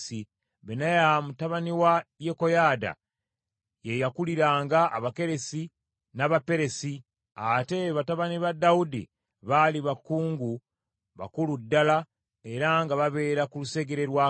Benaya mutabani wa Yekoyaada ye yakuliranga Abakeresi n’Abaperesi; ate batabani ba Dawudi baali bakungu bakulu ddala era nga babeera ku lusegere lwa kabaka.